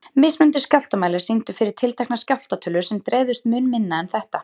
Mismunandi skjálftamælar sýndu fyrir tiltekna skjálfta tölur sem dreifðust mun minna en þetta.